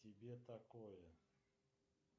тебе такое